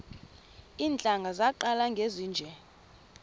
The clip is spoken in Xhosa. iintlanga zaqala ngezinje